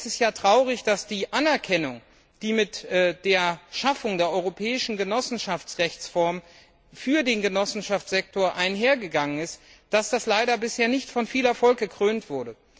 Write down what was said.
Denn es ist ja traurig, dass die Anerkennung, die mit der Schaffung der europäischen Genossenschaftsrechtsform für den Genossenschaftssektor einhergegangen ist, leider bisher nicht von viel Erfolg gekrönt war.